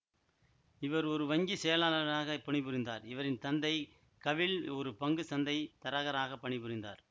இவர் ஒரு வங்கி செயலாளர்ராக பணிபுரிந்தார் இவரின் தந்தை கவில் ஒரு பங்கு சந்தை தரகராக பணிபுரிந்தார்